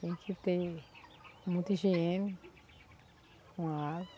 Tem que ter muita higiene com a água.